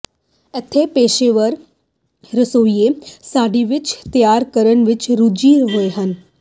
ਇੱਥੇ ਪੇਸ਼ੇਵਰ ਰਸੋਈਏ ਸਡਿਵੱਚ ਤਿਆਰ ਕਰਨ ਵਿਚ ਰੁੱਝੇ ਹੋਏ ਹਨ